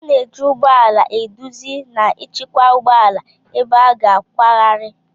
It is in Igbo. A na-eji ụgbọ ala eduzi na ịchịkwa ụgbọ ala ebe a ga-akwagharị